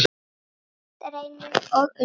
Karl Reynir og Unnur.